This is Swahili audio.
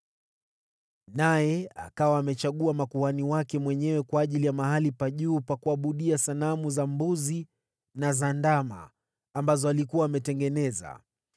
Naye akawa amechagua makuhani wake mwenyewe kwa ajili ya mahali pa juu pa kuabudia sanamu za mbuzi na za ndama ambazo alikuwa ametengeneza.